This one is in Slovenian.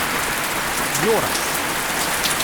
Joras?